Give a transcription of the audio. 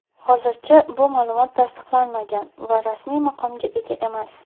Hozircha bu ma’lumot tasdiqlanmagan va rasmiy maqomga ega emas.